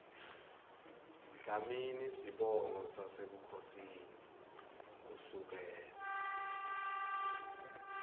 dlamini sibongo sasebukhosini kusukela